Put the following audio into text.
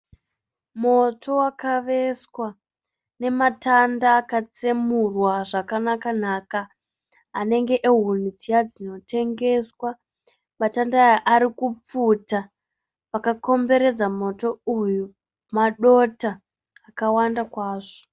Moto wakaveswa nematanda akatsemurwa zvakanaka-naka anenge ehuni dziya dzinotengeswa. Matanda aya ari kupfuta, pakakomberedza moto uyu madota akawanda kwazvo.